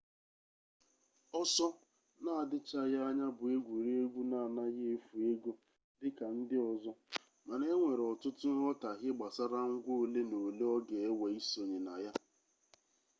ọsọ na-adịchaghị anya bụ egwuregwu na-anaghị efu ego dị ka ndị ọzọ mana enwere ọtụtụ nghọtahie gbasara ngwa ole na ole ọ ga-ewe isonye na ya